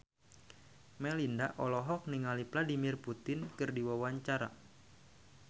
Melinda olohok ningali Vladimir Putin keur diwawancara